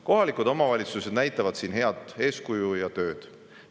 Kohalikud omavalitsused näitavad siin head eeskuju ja teevad head tööd.